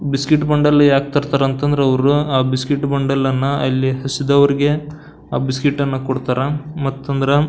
biscuit bundle ಯಾಕ್ ತರ್ತಾರಂತಂದ್ರ ಅವ್ರು ಆಹ್ಹ್ ಬಿಸ್ಕೆಟ್ ಬಾಂಡಲಅನ್ನ ಅಲ್ಲಿ ಹಸಿದವರಿಗೆ ಆಹ್ಹ್ ಬಿಸ್ಕೆಟ್ ಅನ್ನ ಕೊಡ್ತಾರಾ ಮತ್ತಂದ್ರ--